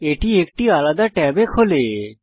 এটি একটি আলাদা ট্যাবে খোলে